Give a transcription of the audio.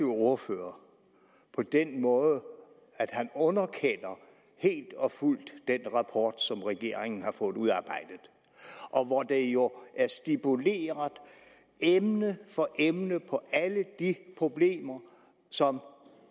ordfører på den måde at han helt og fuldt underkender den rapport som regeringen har fået udarbejdet og hvor det jo er stipuleret emne for emne at på alle de problemer som